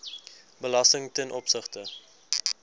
belasting ten opsigte